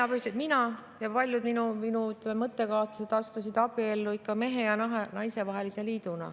Meie – mina ja paljud minu mõttekaaslased – astusime abiellu ikka kui mehe ja naise vahelisse liitu.